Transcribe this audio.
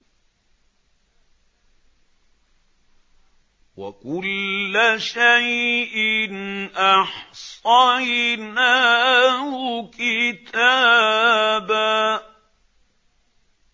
وَكُلَّ شَيْءٍ أَحْصَيْنَاهُ كِتَابًا